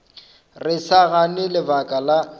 re sa gane lebaka la